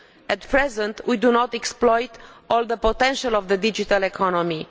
At present we do not exploit the full potential of the digital economy.